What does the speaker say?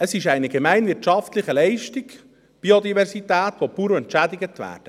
Biodiversität ist eine gemeinwirtschaftliche Leistung, für die die Bauern entschädigt werden.